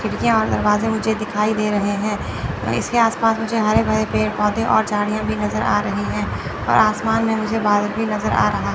खिड़कियां और दरवाजे मुझे दिखाई दे रहे हैं इसके आसपास मुझे हरे भरे पेड़ पौधे और झाड़ियां भी नजर आ रही हैं और आसमान में मुझे बादल भी नजर आ रहा--